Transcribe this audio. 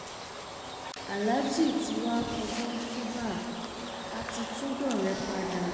aláàjì tí wàá fọgbọn túúbá á ti tún dọrẹ padà